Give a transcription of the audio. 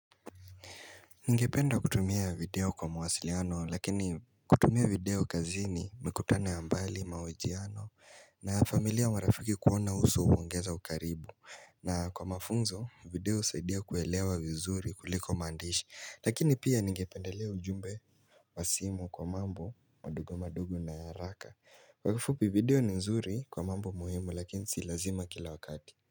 Ningependa kutumia video kwa mwasiliano lakini kutumia video kazini mikutano ya mbali mahojiano na familia mwarafiki kuona uso uwangeza ukaribu na kwa mafunzo video usaidia kuwelewa vizuri kuliko mandishi lakini pia ningependelewa ujumbe Wasimu kwa mambo madugo madugo na ya raka kWakafupi video ni nzuri kwa mambo muhimu lakini silazima kila wakati.